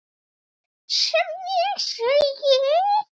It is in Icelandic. sem hér segir